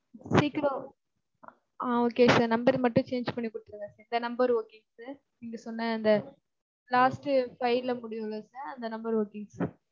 சீக்கிரம் ஆஹ் okay sir number அ மட்டும் change பண்ணி குடுத்துருங்க sir இந்த number okay ங்க sir, நீங்க சொன்ன அந்த last ட்டு five ல, முடியும்ல sir, அந்த number okay ங்க sir.